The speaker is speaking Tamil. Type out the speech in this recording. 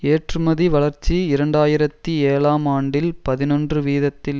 ஏற்றுமதி வளர்ச்சி இரண்டு ஆயிரத்தி ஏழாம் ஆண்டில் பதினொன்று வீதத்தில்